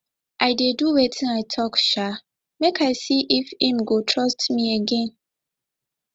i dey do wetin i tok um make i see if im go trust me again